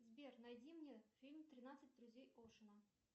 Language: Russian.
сбер найди мне фильм тринадцать друзей оушена